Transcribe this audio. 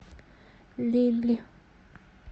лилль